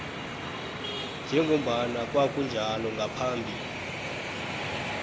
njengombana kwakunjalo ngaphambi